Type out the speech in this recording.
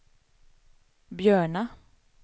Björna